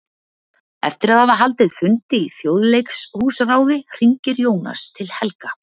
Eftir að hafa haldið fund í Þjóðleikhúsráði hringir Jónas til Helga.